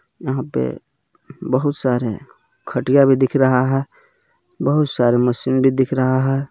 यहाँ पे बहुत सारे खटिया भी दिख रहा है बहुत सारे मशीन भी दिख रहा है।